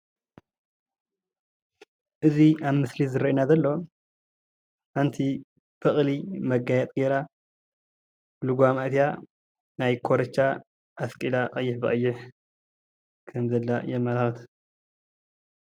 እዚ ኣብ ምስሊ ዝርአየኒ ዘሎ ሓንቲ በቕሊ መጋየፂ ጌራ ልጓማ ጌራ ናይ ኮረቻ ኣስቂላ ቀይሕ ብቀይሕ ኸም ዘላ የመላክት።